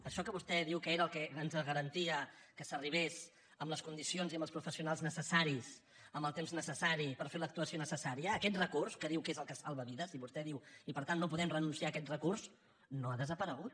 això que vostè diu que era el que ens garantia que s’arribés amb les condicions i amb els professionals necessaris amb el temps necessari per fer l’actuació necessària aquest recurs que diu que és el que salva vides i vostè diu i per tant no podem renunciar a aquest recurs no ha desaparegut